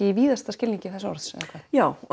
í víðasta skilningi þess orðs eða hvað já